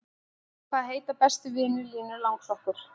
Hvaða heita bestu vinir Línu langsokkur?